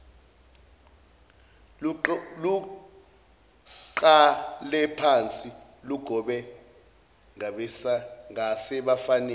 luqalephansi lugobe ngasebafaneni